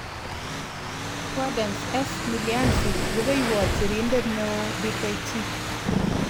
Gaudence S. Milianzi. Rupeihwot sirindeet neoo-Dkt